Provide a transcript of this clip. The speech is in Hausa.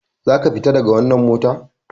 Za ka fita daga wannan mota!